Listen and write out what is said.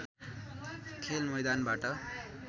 खेल मैदानबाट